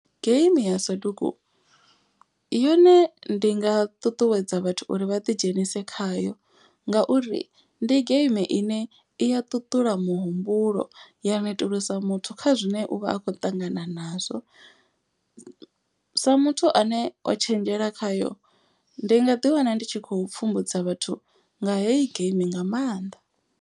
Game ya soduku, yone ndi nga ṱuṱuwedza vhathu uri vha ḓi dzhenise khayo ngauri ndi geimi ine i ya ṱuṱula muhumbulo. Ya netulusa muthu kha zwine uvha a kho ṱangana nazwo. Sa muthu ane o tshenzhela khayo ndi nga ḓi wana ndi tshi khou pfhumbudzwa vhathu nga heyi geimi nga maanḓa.